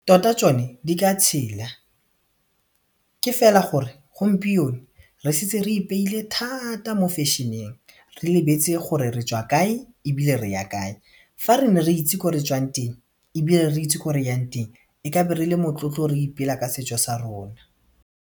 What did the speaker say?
Tota tšone di ka tshela ke fela gore gompieno re setse re ipeile thata mo fashion-eng, re lebetse gore retšwa kae ebile re ya kae fa re ne re itse ko re tswang teng ebile re itse ko re yang teng re kabe re le motlotlo re ipela ka setšo sa rona.